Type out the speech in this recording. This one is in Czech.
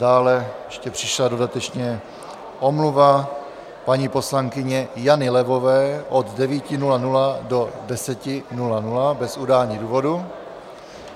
Dále ještě přišla dodatečně omluva paní poslankyně Jany Levové od 9.00 do 10.00 bez udání důvodu.